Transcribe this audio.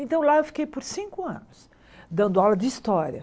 Então lá eu fiquei por cinco anos, dando aula de história.